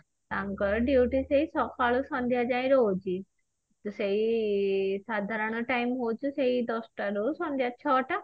ତାଙ୍କର duty ସେଇ ସକାଳୁ ସନ୍ଧ୍ୟା ଯାଏଁ ରହୁଛି ସେଇ ସାଧାରଣ time ହଉଛି ସେଇ ଦଶ ଟା ରୁ ସନ୍ଧ୍ୟା ଛଅ ଟା